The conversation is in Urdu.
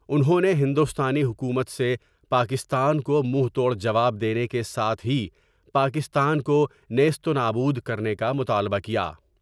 انھوں نے ہندوستانی حکومت سے پاکستان کو منہ توڑ جواب دینے کے ساتھ ہی پاکستان کو نعست نابود کر نے کا مطالبہ کیا ۔